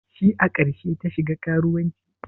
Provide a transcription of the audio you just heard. Shi a karshe ta shiga karuwancin?